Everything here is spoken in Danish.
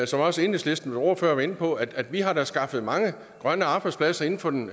som også enhedslistens ordfører var inde på at vi da har skaffet mange grønne arbejdspladser inden for den